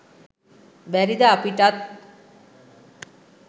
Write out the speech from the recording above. බැරිද අපිටත්